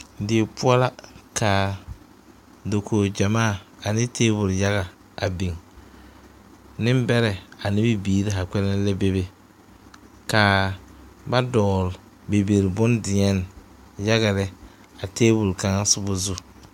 Die poɔ la kaa dokoge gyamaa ne tabole yaga a biŋ neŋbɛrɛ ane bibiire haa kpɛlɛŋ la bebe kaa ba dɔgle bibil bondeɛne yaga lɛ a tabole kaŋa sobɔ zu.